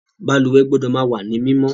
Balùwẹ́ gbọ́dọ̀ ma wá ní mímọ́